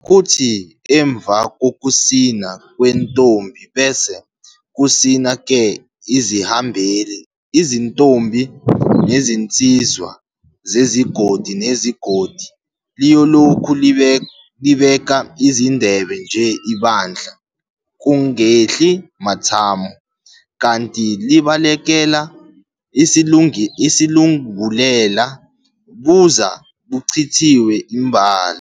Kuthi emva kokusina kwentombi bese kusina-ke izihambeli, izintombi nezinsizwa zezigodi ngezigodi. Liyolokhu libeka izindebe nje ibandla, kungehli mathamo kanti libalekela isilungulela, buze buchithwe imbala.